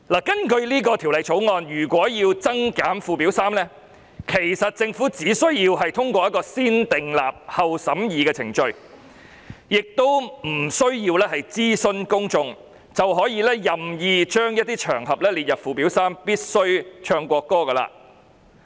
根據《條例草案》，如果要增減附表3的內容，其實政府只需要通過"先訂立後審議"的程序，不需要諮詢公眾，便可以任意將一些場合列入附表3。